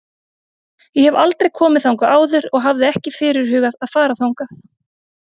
Ég hef aldrei komið þangað áður og hafði ekki fyrirhugað að fara þangað.